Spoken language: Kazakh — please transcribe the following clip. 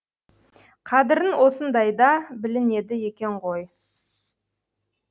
қадірін осындайда білінеді екен ғой